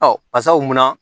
Ɔ pasaw mun na